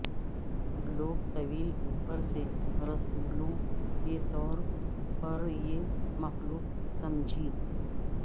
لوگ طویل اوپر سے رسولوں کے طور پر یہ مخلوق سمجھی